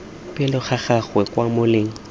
pele ga gago kwa moleng